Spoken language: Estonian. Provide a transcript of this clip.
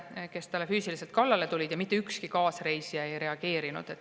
Nad läksid talle füüsiliselt kallale ja mitte ükski kaasreisija ei reageerinud.